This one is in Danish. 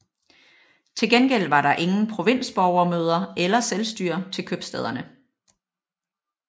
Til gengæld var der ingen provinsborgermøder eller selvstyre til købstæderne